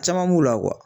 Caman b'u la